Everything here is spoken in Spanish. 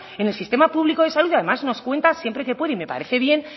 en el sistema público de salud y además nos cuenta siempre que puede y me parece bien